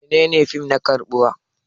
Menene fim na karbuwa?